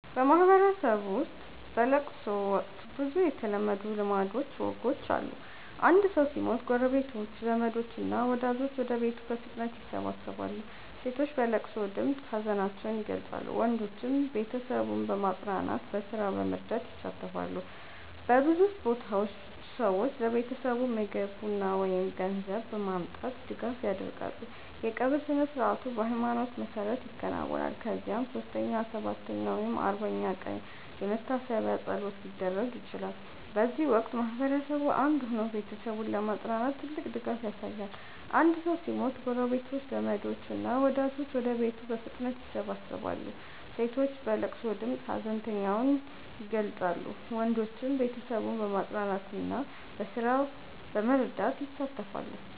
በማህበረሰብ ውስጥ በለቅሶ ወቅት ብዙ የተለመዱ ልማዶችና ወጎች አሉ። አንድ ሰው ሲሞት ጎረቤቶች፣ ዘመዶች እና ወዳጆች ወደ ቤቱ በፍጥነት ይሰበሰባሉ። ሴቶች በለቅሶ ድምፅ ሀዘናቸውን ይገልጻሉ፣ ወንዶችም ቤተሰቡን በማጽናናትና በስራ በመርዳት ይሳተፋሉ። በብዙ ቦታዎች ሰዎች ለቤተሰቡ ምግብ፣ ቡና ወይም ገንዘብ በማምጣት ድጋፍ ያደርጋሉ። የቀብር ስነ-ሥርዓቱ በሃይማኖት መሰረት ይከናወናል፣ ከዚያም 3ኛ፣ 7ኛ ወይም 40ኛ ቀን የመታሰቢያ ፀሎት ሊደረግ ይችላል። በዚህ ወቅት ማህበረሰቡ አንድ ሆኖ ቤተሰቡን በማጽናናት ትልቅ ድጋፍ ያሳያል። አንድ ሰው ሲሞት ጎረቤቶች፣ ዘመዶች እና ወዳጆች ወደ ቤቱ በፍጥነት ይሰበሰባሉ። ሴቶች በለቅሶ ድምፅ ሀዘናቸውን ይገልጻሉ፣ ወንዶችም ቤተሰቡን በማጽናናትና በስራ በመርዳት ይሳተፋሉ።